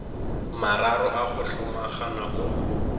mararo a go hlomagana o